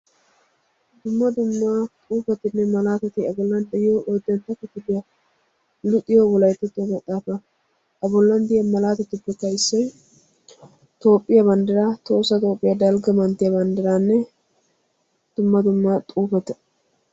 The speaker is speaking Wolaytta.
Dumma dumma xuufetinne malaatati A bollan de'iyo oyddantta akifiliya luxiyo maxaafa A bollankka de'iya malaatatikka Tohossa Toophphiya Dalgga manttiya banddiraanne dumma dumma xuufeta.